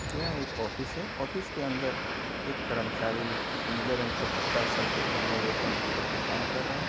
यह एक ऑफिस है ऑफिस के अंदर एक कर्मचारी नीले रंग का पट्टा सर पर पहने हुए कंप्यूटर पे काम कर रहा है।